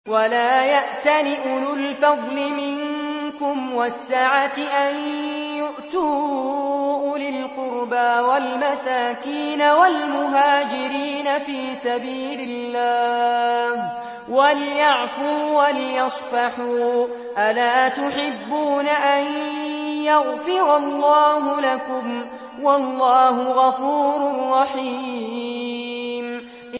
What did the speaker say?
وَلَا يَأْتَلِ أُولُو الْفَضْلِ مِنكُمْ وَالسَّعَةِ أَن يُؤْتُوا أُولِي الْقُرْبَىٰ وَالْمَسَاكِينَ وَالْمُهَاجِرِينَ فِي سَبِيلِ اللَّهِ ۖ وَلْيَعْفُوا وَلْيَصْفَحُوا ۗ أَلَا تُحِبُّونَ أَن يَغْفِرَ اللَّهُ لَكُمْ ۗ وَاللَّهُ غَفُورٌ رَّحِيمٌ